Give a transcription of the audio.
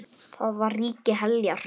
Þar var ríki Heljar.